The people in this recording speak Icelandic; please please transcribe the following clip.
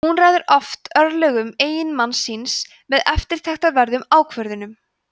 hún ræður oft örlögum eiginmanns síns með eftirtektarverðum ákvörðunum